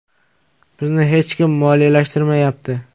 Bizni hech kim moliyalashtirmayapti.